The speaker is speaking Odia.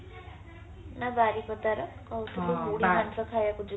ନା ବାରିପଦାର କହୁଥିଲୁ ମୁଢିମାଂସ ଖାଇବାକୁ ଯିବୁ